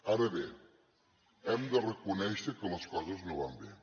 ara bé hem de reconèixer que les coses no van bé